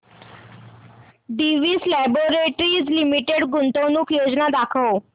Divi's laboratories limited गुंतवणूक योजना दाखव